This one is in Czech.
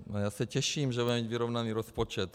Já se těším, že budeme mít vyrovnaný rozpočet.